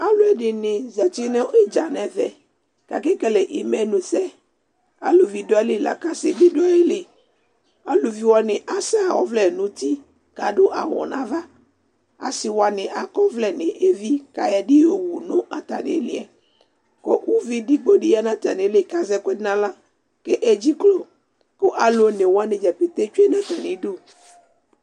aloɛdini zati no idza n'ɛvɛ k'ake kele imenu sɛ aluvi do ayili lako ase bi do ayili aluvi wani asɛ ɔvlɛ n'uti k'ado awu n'ava ase wani akɔ ɔvlɛ n'evi k'ayɔ ɛdi yowu no atami uliɛ ko uvi edigbo di ya no atami li k'azɛ ɛkoɛdi n'ala k'edze klo ko alo one wani dza ƒete tsue n'atami du